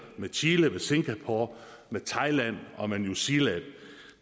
med chile med singapore med thailand og med new zealand og